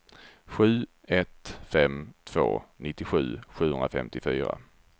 sju ett fem två nittiosju sjuhundrafemtiofyra